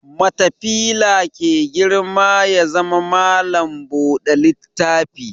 Matafila ke girma ya zama malam buɗe littafi